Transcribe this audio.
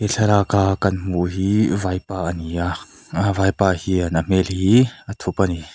thlalaka kan hmuh hi vaipa a ni a aa vaipa hian hmel hi a thup a ni.